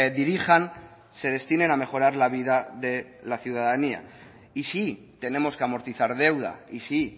dirijan se destinen a mejorar la vida de la ciudadanía y sí tenemos que amortizar deuda y sí